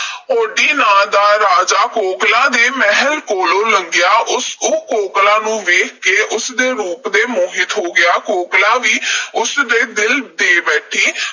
ਹੋਡੀ ਨਾਂ ਦਾ ਰਾਜਾ ਕੋਕਲਾਂ ਦੇ ਮਹਿਲ ਕੋਲੋਂ ਲੰਘਿਆ। ਉਸ ਅਹ ਉਹ ਕੋਕਲਾਂ ਨੂੰ ਵੇਖ ਕੇ ਉਸ ਦੇ ਰੂਪ ਤੇ ਮੋਹਿਤ ਹੋ ਗਿਆ। ਕੋਕਲਾਂ ਵੀ ਉਸ ਨੂੰ ਦਿਲ ਦੇ ਬੈਠੀ।